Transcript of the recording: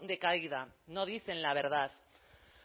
de caída no dicen la verdad